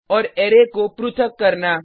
और अरै को पृथक करना